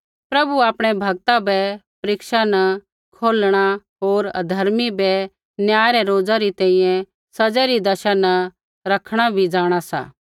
प्रभु आपणै भक्ता बै परीक्षा न कौढणा होर अधर्मी बै न्याय रै रोज़ा तैंईंयैं सज़ै री दशा न रखणा भी जाँणा सा